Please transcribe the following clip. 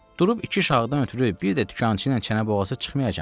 Durub iki şahdan ötrü bir də dükançı ilə çənə boğazı çıxmayacağam ki.